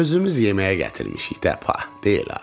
Özümüz yeməyə gətirmişik də, pa, deyil a.